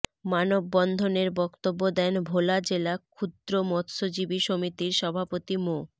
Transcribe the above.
মানববন্ধনের বক্তব্য দেন ভোলা জেলা ক্ষুদ্র মৎস্যজীবী সমিতির সভাপতি মো